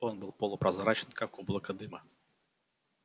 он был полупрозрачен как облако дыма